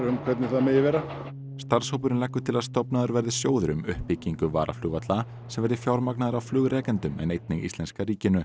um hvernig það megi vera starfshópurinn leggur til að stofnaður verði sjóður um uppbyggingu varaflugvalla sem verði fjármagnaður af flugrekendum en einnig íslenska ríkinu